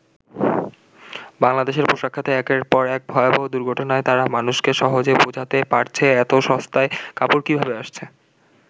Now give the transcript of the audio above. বাংলাদেশের পোশাক খাতে একের পর এক ভয়াবহ দুর্ঘটনায় তারা মানুষকে সহজে বোঝাতে পারছে এত সস্তায় কাপড় কিভাবে আসছে।